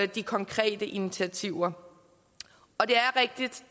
de konkrete initiativer